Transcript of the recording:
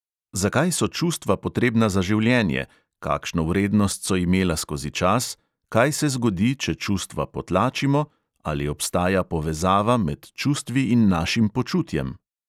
Zakaj so čustva potrebna za življenje, kakšno vrednost so imela skozi čas, kaj se zgodi, če čustva potlačimo, ali obstaja povezava med čustvi in našim počutjem?